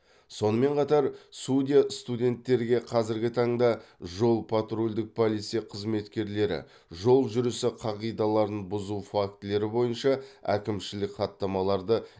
сонымен қатар судья студенттерге қазіргі таңда жол патрульдік полиция қызметкерлері жол жүрісі қағидаларын бұзу фактілері бойынша әкімшілік хаттамаларды